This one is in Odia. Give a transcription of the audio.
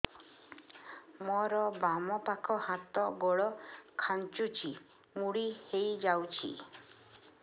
ମୋର ବାମ ପାଖ ହାତ ଗୋଡ ଖାଁଚୁଛି ମୁଡି ହେଇ ଯାଉଛି